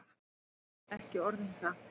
Ekki orð um það.